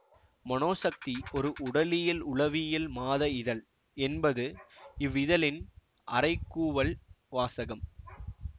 மனோசக்தி ஒரு உடலியல் உளவியல் மாத இதழ் என்பது இவ் இதழின் அறைகூவல் வாசகம்